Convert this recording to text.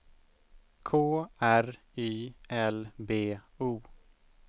K R Y L B O